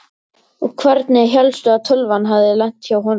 Og hvernig hélstu að tölvan hefði lent hjá honum?